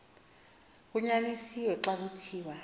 kunyanisiwe xa kuthiwa